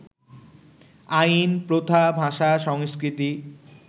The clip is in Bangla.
আইন, প্রথা, ভাষা, সংস্কৃতি